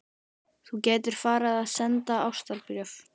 Þú gætir farið að senda ástarbréf.